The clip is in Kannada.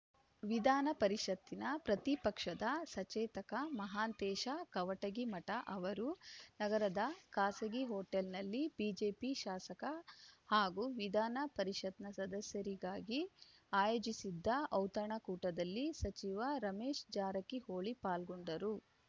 ವಿಧಾನ ಪರಿಷತ್ತಿನ ಪ್ರತಿಪಕ್ಷದ ಸಚೇತಕ ಮಹಾಂತೇಶ ಕವಟಗಿಮಠ ಅವರು ನಗರದ ಖಾಸಗಿ ಹೋಟೆಲ್‌ನಲ್ಲಿ ಬಿಜೆಪಿ ಶಾಸಕ ಹಾಗೂ ವಿಧಾನ ಪರಿಷತ್‌ನ ಸದಸ್ಯರಿಗಾಗಿ ಆಯೋಜಿಸಿದ್ದ ಔತಣಕೂಟದಲ್ಲಿ ಸಚಿವ ರಮೇಶ ಜಾರಕಿಹೊಳಿ ಪಾಲ್ಗೊಂಡರು